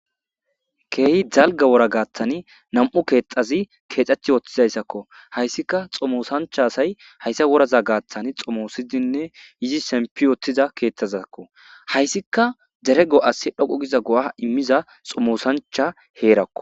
Kehi dalga wora garsan na,mu kethayi kexetiutizasako hayisika xomosancha asayi hayisa wora garsan xomosidinne yidi shempiwutida kethazako hayisika dere go,as dhoqu giza go,a imiza xomosancha herako